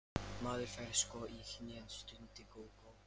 Maður fær sko í hnén, stundi Gógó.